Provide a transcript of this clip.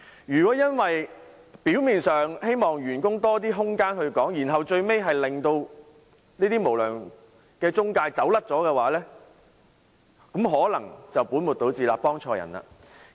如果因為表面上想給員工多些時間舉報，最後卻令無良中介逃之夭夭，可能本末倒置，幫錯對象。